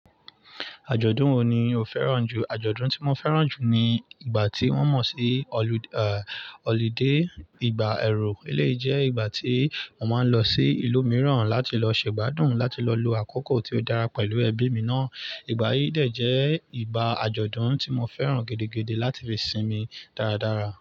Àjọ̀dún wo ni o fẹ́ràn jù? Àjọ̀dún tí mo fẹ́ràn jù ni ìgbà tí wọ́n mọ̀ sí holiday ìgbà ẹ̀rù. Eleyi jẹ́ ìgbà tí mo máa ń lọ sí ìlú miran láti lọ ṣe ìgbádùn láti lọ lo akako to dára pẹ̀lú ẹbí mii náà. Ìgbà yìí dè jẹ́ ìgbà àjọ̀dún tí mo fẹ́ràn gidi láti fi sinmi dáradára.